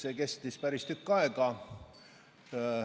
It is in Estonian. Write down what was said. See kestis päris tükk aega.